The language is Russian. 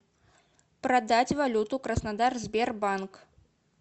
продать валюту краснодар сбербанк